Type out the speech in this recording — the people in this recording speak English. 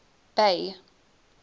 bay